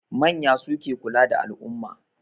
Manya suke kula da al'umma.